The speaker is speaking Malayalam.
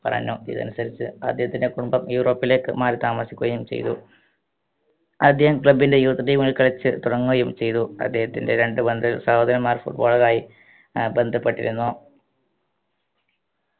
പറഞ്ഞു ഇതനുസരിച്ച് അദ്ദേഹത്തിൻറെ കുടുംബം യൂറോപ്പിലേക്ക് മാറി താമസിക്കുകയും ചെയ്തു ആദ്യം club ൻറെ youth team ൽ കളിച്ച് തുടങ്ങുകയും ചെയ്തു അദ്ദേഹത്തിൻറെ രണ്ട് പണ്ട് സഹോദരന്മാർ foot baller ആയി ഏർ ബന്ധപ്പെട്ടിരുന്നു